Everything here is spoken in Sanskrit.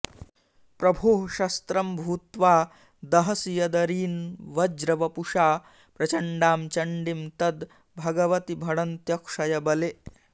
प्रभोः शस्त्रं भूत्वा दहसि यदरीन्वज्रवपुषा प्रचण्डां चण्डीं तद्भगवति भणन्त्यक्षयबले